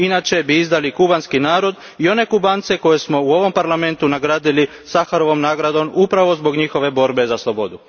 Inače bi izdali kubanski narod i one Kubance koje smo u ovom Parlamentu nagradili Saharovom nagradom, upravo zbog njihove borbe za slobodu.